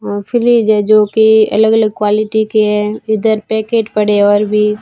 वो फ्रिज है जो की अलग अलग क्वालिटी के है इधर पेकेट पड़े है और भी--